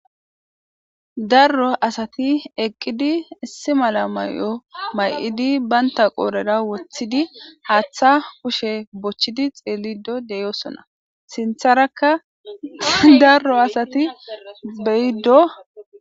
darro asati eqqidi issi mala may7o may7idi baynta qoorera wothidi haaththa kushe bochchidi xeelido deyosona sintharakka darro asati beyiddo